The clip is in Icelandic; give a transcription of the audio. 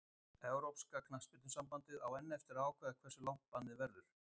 Evrópska knattspyrnusambandið á enn eftir að ákveða hversu langt bannið verður.